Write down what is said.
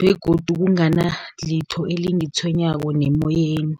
begodu kunganalitho elingitshwenyako nemoyeni.